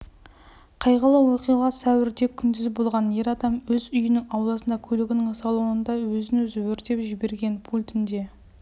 қайғылы оқиға сәуірде күндіз болған ер адам өз үйінің ауласында көлігінің салонында өзін-өзі өртеп жіберген пультіне